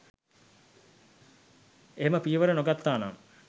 එහෙම පියවර නොගත්තානම්